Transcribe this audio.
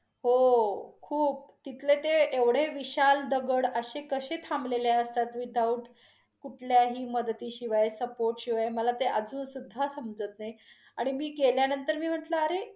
हो~ खूप तिथले ते एवढे विशाल दगड अशे, कशे थांबलेले असतात without कुठ्याही मदतीशीवाय support शिवाय मला ते अजून सुधा समजत नाही, आणि मी गेल्यानंतर मी म्हटल अरे,